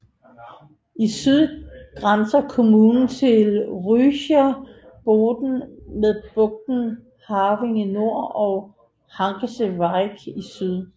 I syd grænser kommunen til Rügischer Bodden med bugten Having i nord og Hagensche Wiek i syd